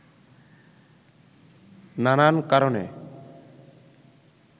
নানান কারণে